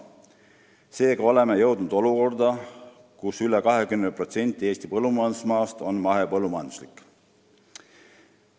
Seega oleme jõudnud olukorda, kus üle 20% Eesti põllumajandusmaast on mahepõllumajanduslik.